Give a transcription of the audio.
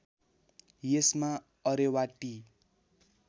यसमा Areva T